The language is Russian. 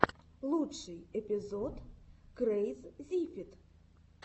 лучший эпизод крэйззифид